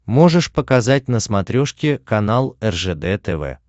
можешь показать на смотрешке канал ржд тв